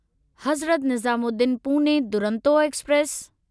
Hazrat Nizamuddin Pune Duronto express